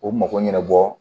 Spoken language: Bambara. O mago ɲɛnɛbɔ